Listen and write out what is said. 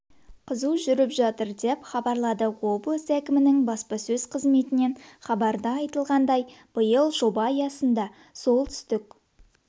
қызу жүріп жатыр деп хабарлады облыс әкмінің басапсөз қызметінен хабарда айтылғандай биыл жоба аясында солтүстік